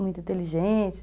muito inteligente.